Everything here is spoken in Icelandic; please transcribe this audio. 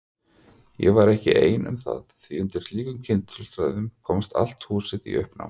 Ég var ekki ein um það því undir slíkum kringumstæðum komst allt húsið í uppnám.